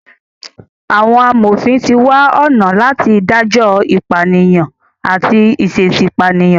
Àwọn amòfin ti wá ọ̀nà láti dájọ ìpànìyàn àti ìṣẹ̀èṣì pànìyàn.